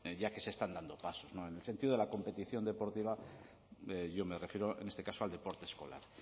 ya que se están dando pasos en el sentido de la competición deportiva yo me refiero en este caso al deporte escolar